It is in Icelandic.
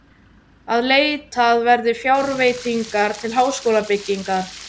Að leitað verði fjárveitingar til háskólabyggingar.